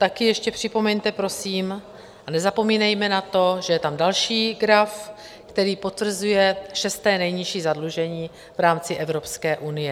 Taky ještě připomeňte prosím, a nezapomínejme na to, že je tam další graf, který potvrzuje šesté nejnižší zadlužení v rámci Evropské unie.